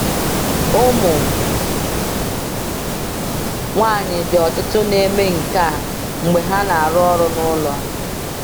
Ụmụ nwanyị di ọtụtụ na-eme nke a mgbe ha na-arụ ọrụ n’ụlọ.